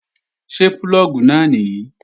Ṣé púlọ̀gì náà nìyí?